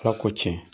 Ala ko tiɲɛ